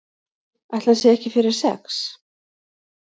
Ætli hann sé ekki fyrir sex?